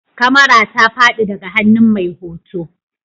Kamara ta fadi daga hannun mai hoto